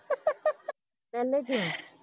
ਪਹਿਲੇ ਦਿਨ